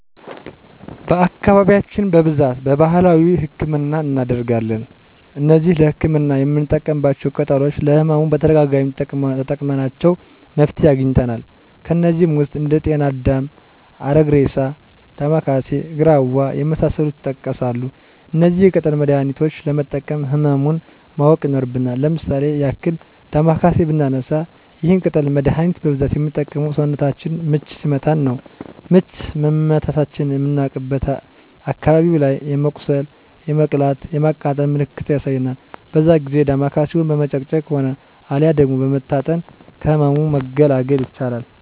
በአካባቢያችን በብዛት በባህላዊ ህክምናን እናደርጋለን። እነዚህ ለህክምና የምንጠቀማቸው ቅጠሎች ለህመሙ በተደጋጋሚ ተጠቅመናቸው መፍትሄ አግኝተናል። ከነዚህም ውስጥ እንደ ጤና አዳም፣ አረግሬሳ፣ ዳማከሴ፣ ግራዋ የመሳሰሉት ይጠቀሳሉ። እነዚህን የቅጠል መድሀኒቾች ለመጠቀም ህመሙን ማወቅ ይኖርብናል። ለምሳሌ ያክል ዳማከሴን ብናነሳ ይህን የቅጠል መደሀኒት በብዛት ምንጠቀመው ሰውነታችንን ምች ሲመታን ነው። ምች መመታታችንን ምናቅበት አካባቢው ላይ የመቁሰል የመቅላት የማቃጠል ምልክትን ያሳያል በዛ ጊዜ ዳማከሴውን በመጭመቅ ሆነ አልያ ደግሞ በመታጠን ከህመሙ መገላገል ይቻላል።